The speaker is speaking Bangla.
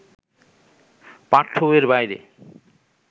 পাঠ্যবইয়ের বাইরে